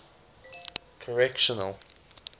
correctional